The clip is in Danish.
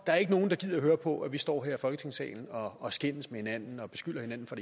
der er nogen der gider at høre på at vi står her i folketingssalen og og skændes med hinanden og beskylder hinanden for